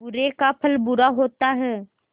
बुरे का फल बुरा होता है